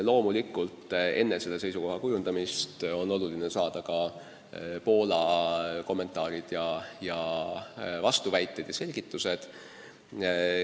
Loomulikult on enne selle seisukoha kujundamist oluline saada Poolalt kommentaarid ja vastuväited, üldse selgitused.